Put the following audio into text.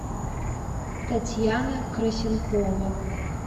татьяна крысенкова